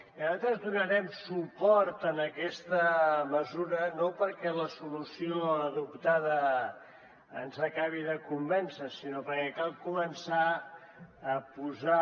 nosaltres donarem suport a aquesta mesura no perquè la solució adoptada ens acabi de convèncer sinó perquè cal començar a posar